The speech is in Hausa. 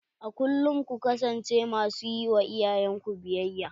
A kulkum ku kasance ma su ƴi wa iyayen ku biyayya.